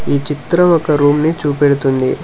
ఈ చిత్రం ఒక రూమ్ ని చూపెడుతుంది.